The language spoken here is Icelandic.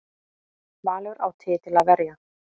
Valur á titil að verja